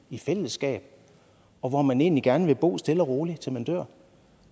i fællesskab og hvor man egentlig gerne vil bo stille og roligt til man dør